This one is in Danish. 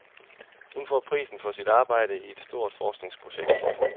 Hun får prisen for sit arbejde i et stort forskningsprojekt.